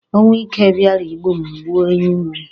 Ọnwụ ike bịara igbu m gbuo ewu m.